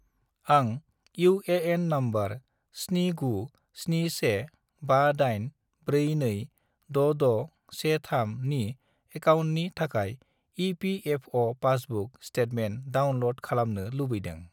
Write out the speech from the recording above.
आं UAN. Number 797158426613 नि एकाउन्टनि थाखाय इ.पि.एफ.अ'. पासबुक स्टेटमेन्ट डाउनलड खालामनो लुबैदों।